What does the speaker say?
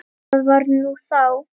Það var nú þá.